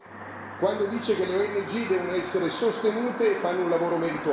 quando dice che le ONG devono essere sostenute e fanno un lavoro meritorio.